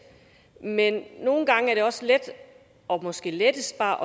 men nogle gange er det også let og måske lettest bare